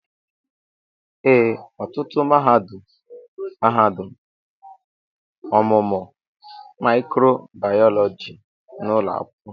ee, ọtụtụ mahadum mahadum ọmụmụ mịkròbàyọlọjí n'ụlọ akwụkwọ